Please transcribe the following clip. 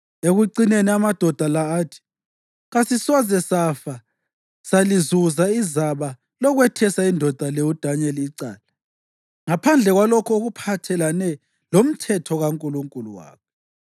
Ekucineni amadoda la athi, “Kasisoze safa salizuza izaba lokwethesa indoda le uDanyeli icala ngaphandle kwalokho okuphathelene lomthetho kaNkulunkulu wakhe.”